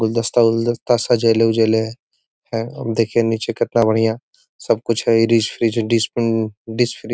गुलदस्ता वुल्द्स्ता सजेले उजेले हैं देखिए नीचे कितना बढ़िया सब कुछ है --